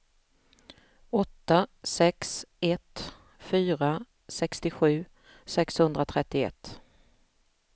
åtta sex ett fyra sextiosju sexhundratrettioett